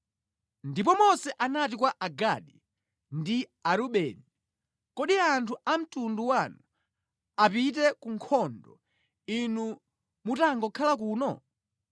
Ndipo Mose anati kwa Agadi ndi Arubeni, “Kodi anthu a mtundu wanu apite ku nkhondo inu mutangokhala kuno?